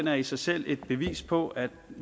er i sig selv et bevis på at